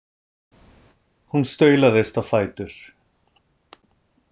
Hún staulast á fætur.